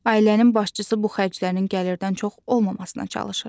Ailənin başçısı bu xərclərin gəlirdən çox olmamasına çalışır.